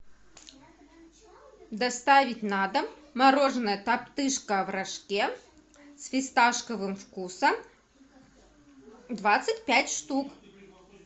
доставить на дом мороженое топтыжка в рожке с фисташковым вкусом двадцать пять штук